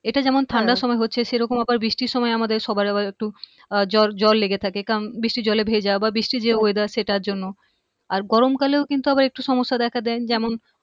এটা যেমন ঠান্ডার সময় হচ্ছে সেরকম আবার বৃষ্টির সময় আমাদের সবার আবার একটু আহ জ্বর লেগে থাকে কারণ বৃষ্টির জলে ভেজা বা বৃষ্টির যে weather সেটার জন্য আর গরম কালেও কিন্তু আবার কিছু সমস্যা দেখা দেয় যেমন